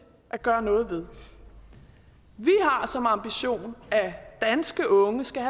at gøre noget ved vi har som ambition at danske unge skal